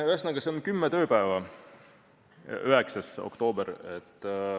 Ühesõnaga, see on kümme tööpäeva, 9. oktoober.